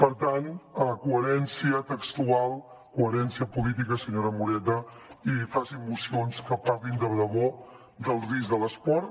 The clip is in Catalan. per tant coherència textual coherència política senyora moreta i facin mocions que parlin de debò del risc de l’esport